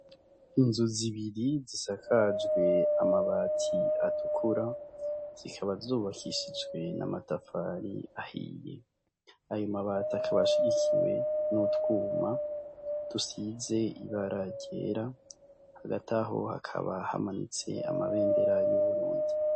Inzu zibiri zisakajwe amabati atukura zikaba zubakishijwe na amatafari ahiye ayo mabati akabashigikiwe n'utwuma dusize ibararyera hagati aho hakaba hamanutse amabendera y'uburundi.